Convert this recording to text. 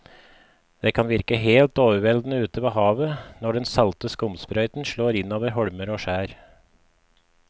Det kan virke helt overveldende ute ved havet når den salte skumsprøyten slår innover holmer og skjær.